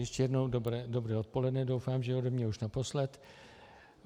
Ještě jednou dobré odpoledne, doufám, že ode mě už naposled.